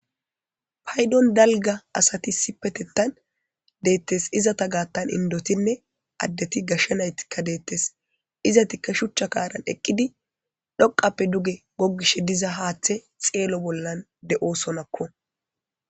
paydon dalga asati sipetettan deettes izata gaattan indotinne addeti gashshenaytikka deettes izatikka shuchcha kaaran eqqidi dhoqappe duge gogish diza haaththe xeelo bollan de7osonakko